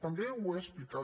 també ho he explicat